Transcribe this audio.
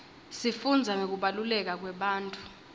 sifundza ngekubaluleka kwebantfu